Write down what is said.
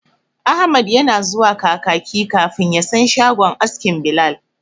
Ahmad yana zuwa Kakaki kafin ya san shagon askin Bilal.